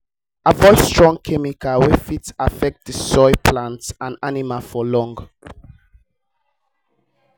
avoid strong chemicals wey fit affect the soil plant and animal for long